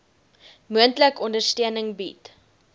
moontlik ondersteuning bied